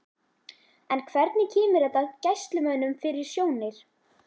En hvernig kemur þetta Gæslumönnum fyrir sjónir?